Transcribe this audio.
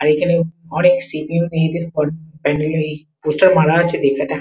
আর এখানে অনেক সি.পি.এম মেয়েদের পোস্টার মারা আছে ।